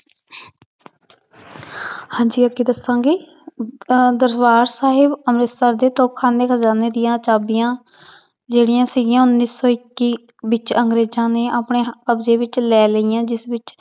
ਹਾਂਜੀ ਅੱਗੇ ਦੱਸਾਂਗੀ ਅਹ ਦਰਬਾਰ ਸਾਹਿਬ ਅੰਮ੍ਰਿਤਸਰ ਦੇ ਖਾਨੇ ਖ਼ਜਾਨੇ ਦੀਆਂ ਚਾਬੀਆਂ ਜਿਹੜੀਆਂ ਸੀਗੀਆਂ ਉੱਨੀ ਸੌ ਇੱਕੀ ਵਿੱਚ ਅੰਗਰੇਜ਼ਾਂ ਨੇ ਆਪਣੇ ਕਬਜ਼ੇ ਵਿੱਚ ਲੈ ਲਈਆਂ ਜਿਸ ਵਿੱਚ